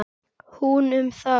Hún um það.